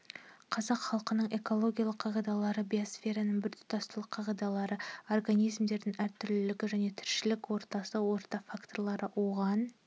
қазақ халқының экологиялық қағидалары биосфераның біртұтастылық қағидалары организмдердің әртүрлілігі және тіршілік ортасы орта факторлары оған